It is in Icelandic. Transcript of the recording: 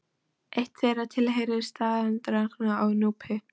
Eitt þeirra tilheyrir staðarhaldaranum á Núpi.